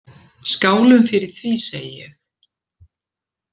Skálum fyrir því, segi ég.